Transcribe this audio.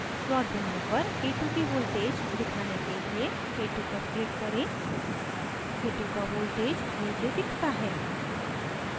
plot window पर a2 की voltage दिखाने के लिए a2 पर click करें a2 का voltage नीचे दिखता है